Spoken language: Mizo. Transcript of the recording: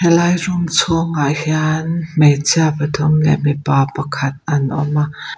lai room chhung ah hian hmeichhia pathum leh mipa pakhat an awm a.